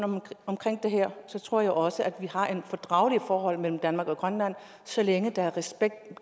omkring det her tror jeg også at vi har et fordrageligt forhold mellem danmark og grønland så længe der er